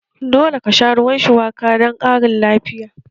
Dole ka sha ruwan shuwaka don ƙarin lafiya!